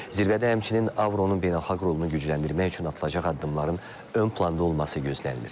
Zirvədə həmçinin Avronun beynəlxalq rolunu gücləndirmək üçün atılacaq addımların ön planda olması gözlənilir.